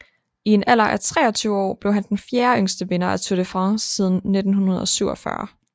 I en alder af 23 år blev han den fjerde yngste vinder af Tour de France siden 1947